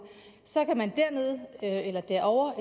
så kan man dernede eller derovre